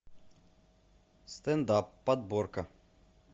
стендап подборка